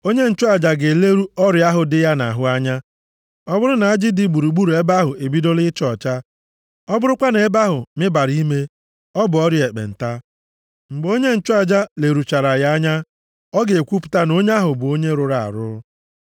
Onye nchụaja ga-eleru ọrịa ahụ dị ya nʼahụ anya. Ọ bụrụ na ajị dị gburugburu ebe ahụ ebidola ịcha ọcha, ọ bụrụkwa na ebe ahụ mibara ime, ọ bụ ọrịa ekpenta. Mgbe onye nchụaja leruchara ya anya, ọ ga-ekwupụta na onye ahụ bụ onye rụrụ arụ.